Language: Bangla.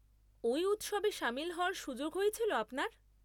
ওই উৎসবে সামিল হওয়ার সুযোগ হয়েছিল আপনার?